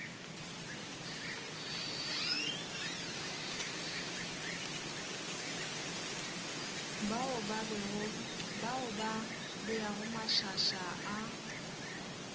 bao ba beago mašaša a